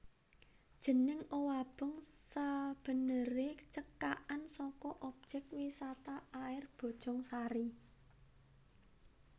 Jeneng Owabong sabeneré cekakan saka Objék Wisata Air Bojongsari